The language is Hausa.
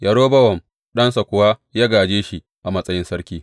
Rehobowam ɗansa kuwa ya gāje shi a matsayin sarki.